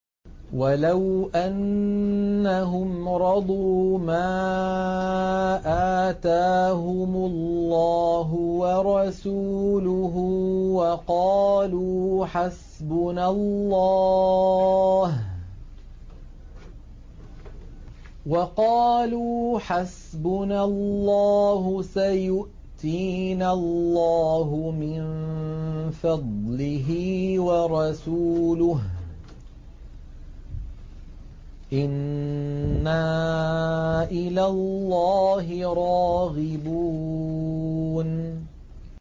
وَلَوْ أَنَّهُمْ رَضُوا مَا آتَاهُمُ اللَّهُ وَرَسُولُهُ وَقَالُوا حَسْبُنَا اللَّهُ سَيُؤْتِينَا اللَّهُ مِن فَضْلِهِ وَرَسُولُهُ إِنَّا إِلَى اللَّهِ رَاغِبُونَ